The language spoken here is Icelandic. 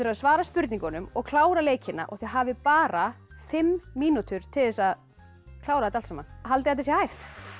að svara spurningunum og klára leikina og þið hafið bara fimm mínútur til að klára þetta allt saman haldið þetta sé hægt